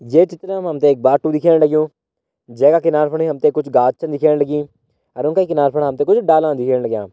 ये चित्र मा हम त एक बाटू दिखेण लग्युं जै का किनारा फणि हम त कुछ गात छ दिखेण लगीं अर उंका किनारा फणा हम त कुछ डाला दिखेण लग्यां।